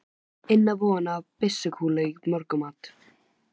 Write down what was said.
inn á von á byssukúlu í morgunmat.